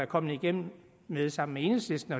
kommet igennem med sammen med enhedslisten